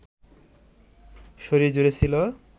শরীরজুড়ে ছিল